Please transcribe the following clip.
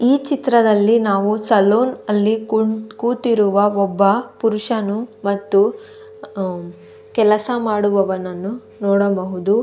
ಈ ಚಿತ್ರದಲ್ಲಿ ನಾವು ಸಲೂನ್ ನಲ್ಲಿ ಕೂತಿರುವ ಒಬ್ಬ ಪುರುಷನು ಮತ್ತು ಅಹ್ಮ್ ಕೆಲಸ ಮಾಡುವವನನ್ನು ನೋಡಬಹುದು.